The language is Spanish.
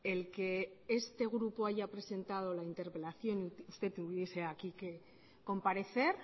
el que este grupo haya presentado la interpelación y que usted tuviese aquí que comparecer